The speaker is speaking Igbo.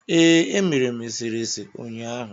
Ee, emere m eserese ụnyaahụ.